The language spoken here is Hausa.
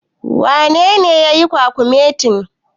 Wanene yake yin kwakumetin?